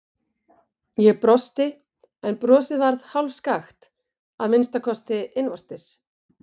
Ég brosti, en brosið varð hálfskakkt, að minnsta kosti innvortis.